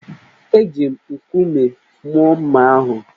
Eji m nkume mụọ mma ahụ